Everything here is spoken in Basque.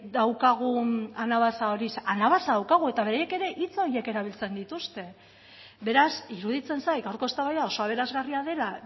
daukagun anabasa hori anabasa daukagu eta beraiek ere hitz horiek erabiltzen dituzte beraz iruditzen zait gaurko eztabaida oso aberasgarria dela